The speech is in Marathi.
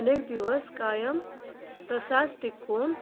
अनेक दिवस कायम तसाच टिकून